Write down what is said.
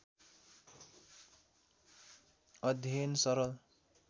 अध्ययन सरल